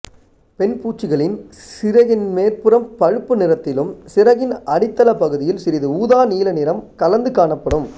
பெண் பூச்சிகளின் சிறகின் மேற்புறம் பழுப்பு நிறத்திலும் சிறகின் அடித்தள பகுதியில் சிறிது ஊதா நீல நிறம் கலந்தும் காணப்படும்